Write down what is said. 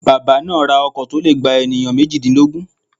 Bàbá náà ra ọkọ̀ to le gba ènìyàn méjìdínlógún